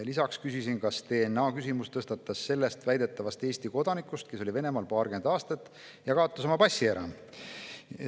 Lisaks küsisin, kas DNA‑küsimus tõstatus selle väidetava Eesti kodaniku tõttu, kes oli paarkümmend aastat Venemaal ja kaotas oma passi ära.